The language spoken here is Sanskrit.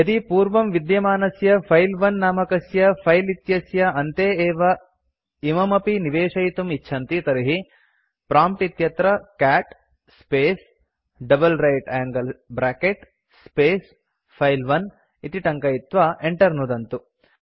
यदि पूर्वं विद्यमानस्य फिले 1 नामकस्य फिले इत्यस्य अन्ते एव इममपि निवेशयितुं इच्छन्ति तर्हि प्रॉम्प्ट् इत्यत्र cat space double right angle bracket space file 1 इति टङ्कयित्वा enter नुदन्तु